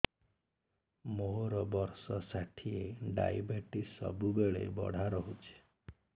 ମୋର ବର୍ଷ ଷାଠିଏ ଡାଏବେଟିସ ସବୁବେଳ ବଢ଼ା ରହୁଛି